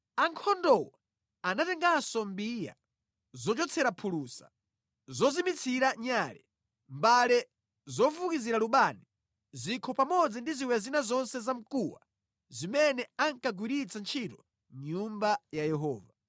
Ankhondowo anatenganso mbiya, zochotsera phulusa, zozimitsira nyale, mbale zofukizira lubani, zikho pamodzi ndi ziwiya zina zonse za mkuwa zimene ankagwiritsira ntchito mʼNyumba ya Yehova.